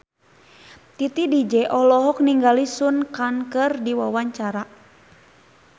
Titi DJ olohok ningali Sun Kang keur diwawancara